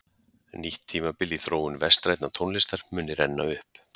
nýtt tímabil í þróun vestrænnar tónlistar muni renna upp